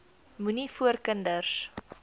moenie voor kinders